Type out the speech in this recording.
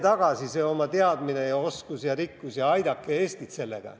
Tooge see teadmine ja oskus ja rikkus tagasi ja aidake Eestit sellega.